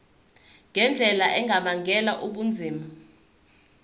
ngendlela engabangela ubunzima